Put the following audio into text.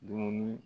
Dumuni